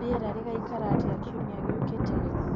rĩera rĩgaĩkara atĩa kĩumĩa gĩũkĩte